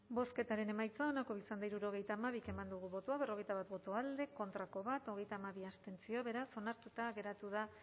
bozketaren emaitza onako izan da hirurogeita hamabi eman dugu bozka berrogeita bat boto alde bat contra hogeita hamabi abstentzio beraz onartuta geratu da